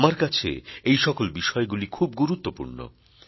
আমার কাছে এই সকল বিষয়গুলি খুব গুরুত্বপূর্ণ